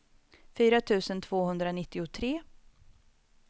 fyra tusen tvåhundranittiotre